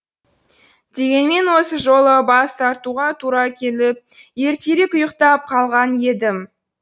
дегенмен осы жолы бас тартуға тура келіп ертерек ұйықтап қалған едім